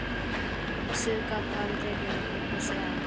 Þessu gat hann tekið og brosti að.